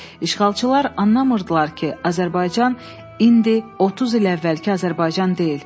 İşğalçılar anlamırdılar ki, Azərbaycan indi 30 il əvvəlki Azərbaycan deyil.